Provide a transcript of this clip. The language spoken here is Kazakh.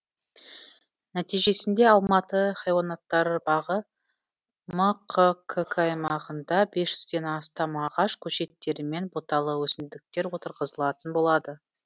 нәтижесінде алматы хайуанаттар бағы мқкк аймағында без жүзден астам ағаш көшеттері мен бұталы өсімдіктер отырғызылатын болады